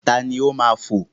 Ta ni ó máa fo?